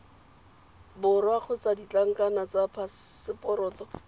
borwa kgotsa ditlankana tsa phaseporoto